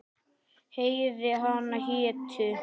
Heiði hana hétu